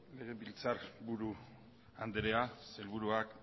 legebiltzar buru andrea sailburuak